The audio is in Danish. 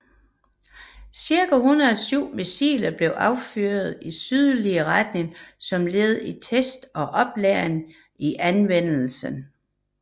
Cirka 107 missiler blev affyret i sydlig retning som led i test og oplæring i anvendelsen